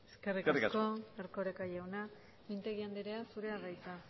eskerrik asko eskerrik asko erkoreka jauna mintegi anderea zurea da hitza